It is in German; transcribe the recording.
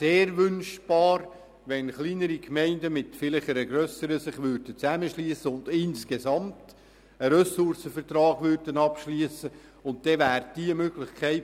Sehr wünschenswert wäre, wenn sich kleinere Gemeinden vielleicht mit einer grösseren zusammenschliessen und gemeinsam einen Ressourcenvertrag abschliessen würden.